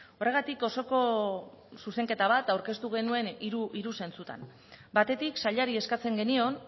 horregatik osoko zuzenketa bat aurkeztu genuen hiru zentsutan batetik sailari eskatzen genion